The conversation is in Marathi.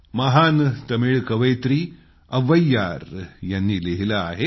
महान तमिळ कवियत्री अव्वैयार यांनी लिहिलं आहे